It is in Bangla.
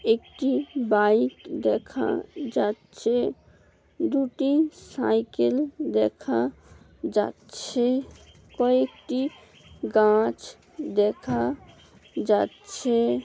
একটি বাইক দেখা যাচ্ছে। দুটি সাইকেল দেখা যাচ্ছে ।কয়েকটি গাছ দেখা যাচ্ছে ।